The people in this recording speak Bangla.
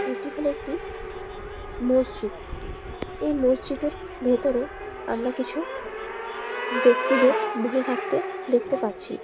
এটি হলো একটি মসজিদ এই মসজিদ এর ভেতরে আমরা কিছু ব্যক্তিদের বসে থাকতে দেখতে পাচ্ছি।